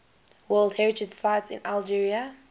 world heritage sites in algeria